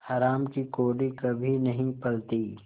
हराम की कौड़ी कभी नहीं फलती